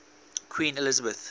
queen elizabeth